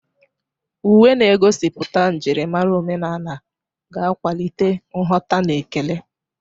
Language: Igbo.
Uwe na-egosipụta njirimara omenala ga-akwalite nghọta na ekele.